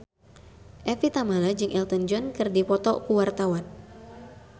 Evie Tamala jeung Elton John keur dipoto ku wartawan